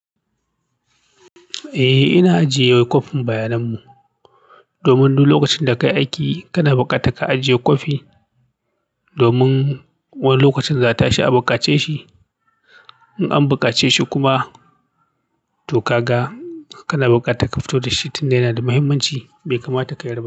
Eh, ina ajiye kofin bayanan mu. Domin duk lokacin da ka yi aiki kana bukata ka ajiye kofi. Domin wani lokacin za'a tashi a bukace shi. In an bukace shi kuma. To ka ga kana bukata ka fito da shi tun yana da muhimmanci bai kamata ka yarda.